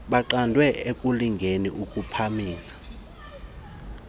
baqandwe ekulingeni ukuphamisa